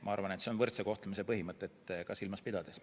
Ma arvan, et see on oluline võrdse kohtlemise põhimõtet silmas pidades.